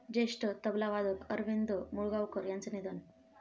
ज्येष्ठ तबलावादक अरविंद मुळगावकर यांचं निधन